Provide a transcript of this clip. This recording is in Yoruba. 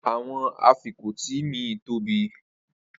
Awọn afikọti mi tobi